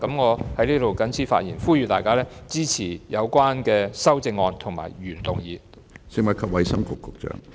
我謹此發言，呼籲大家支持有關的修正案及原議案。